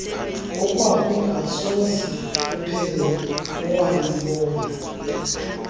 okwakungasoze kuphele walubona